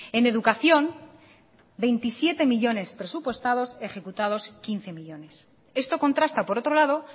en educación veintisiete millónes presupuestados ejecutados quince millónes esto contrasta por otro lado